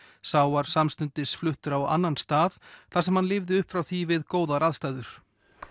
sá var samstundis fluttur á annan stað þar sem hann lifði upp frá því við góðar aðstæður